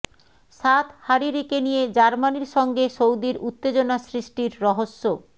সাদ হারিরিকে নিয়ে জার্মানির সঙ্গে সৌদির উত্তেজনা সৃষ্টির রহস্য